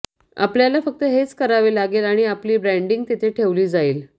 आपल्याला फक्त हेच करावे लागेल आणि आपली ब्रँडिंग तिथे ठेवली जाईल